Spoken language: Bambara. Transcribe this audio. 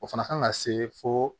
O fana kan ka se fo